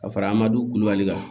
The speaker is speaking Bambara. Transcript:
Ka fara an ma du kulubali kan